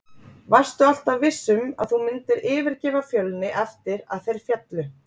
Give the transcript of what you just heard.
Varstu alltaf viss um að þú myndir yfirgefa Fjölni eftir að þeir féllu?